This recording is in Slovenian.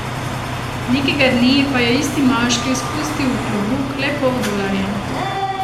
Nekega dne pa je isti moški spustil v klobuk le pol dolarja.